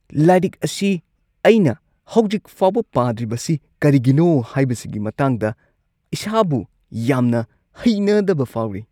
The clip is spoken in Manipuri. ꯂꯥꯏꯔꯤꯛ ꯑꯁꯤ ꯑꯩꯅ ꯍꯧꯖꯤꯛ ꯐꯥꯎꯕ ꯄꯥꯗ꯭ꯔꯤꯕꯁꯤ ꯀꯔꯤꯒꯤꯅꯣ ꯍꯥꯏꯕꯁꯤꯒꯤ ꯃꯇꯥꯡꯗ ꯏꯁꯥꯕꯨ ꯌꯥꯝꯅ ꯍꯩꯅꯗꯕ ꯐꯥꯎꯔꯤ꯫